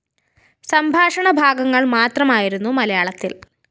സംഭാഷണ ഭാഗങ്ങള്‍ മാത്രമായിരുന്നു മലയാളത്തില്‍